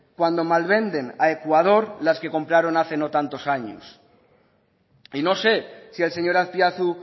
cuando malvenden a ecuador las que compraron hace no tantos años y no sé si el señor azpiazu